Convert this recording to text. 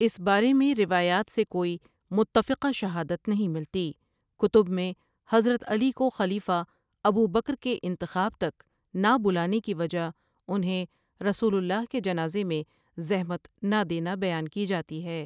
اس بارے میں روایات سے کوئی متفقہ شہادت نہیں ملتی کتب میں حضرت علی کو خلیفہ ابوبکر کے انتخاب تک نا بلانے کی وجہ انہیں رسول اللہ کے جنازے میں زحمت نا دینا بیان کی جاتی ہے ۔